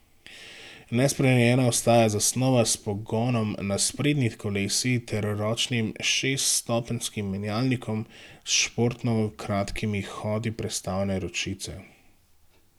Nespremenjena ostaja zasnova s pogonom na sprednji kolesi ter ročnim šeststopenjskim menjalnikom s športno kratkimi hodi prestavne ročice.